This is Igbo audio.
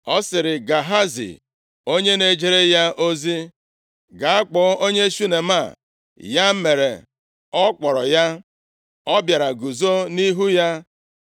Ọ sịrị Gehazi onye na-ejere ya ozi, “Gaa kpọọ onye Shunem a,” Ya mere, ọ kpọrọ ya, ọ bịara guzo nʼihu ya,